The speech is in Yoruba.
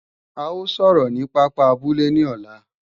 A ó sọ̀rọ̀ ni pápá abúlé ní ọ̀la